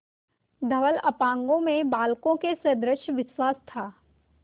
धवल अपांगों में बालकों के सदृश विश्वास था